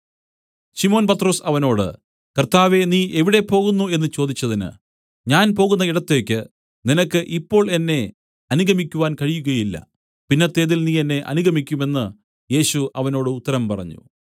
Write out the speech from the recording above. ശിമോൻ പത്രൊസ് അവനോട് കർത്താവേ നീ എവിടെ പോകുന്നു എന്നു ചോദിച്ചതിന് ഞാൻ പോകുന്ന ഇടത്തേക്ക് നിനക്ക് ഇപ്പോൾ എന്നെ അനുഗമിക്കുവാൻ കഴിയുകയില്ല പിന്നത്തേതിൽ നീ എന്നെ അനുഗമിക്കും എന്നു യേശു അവനോട് ഉത്തരം പറഞ്ഞു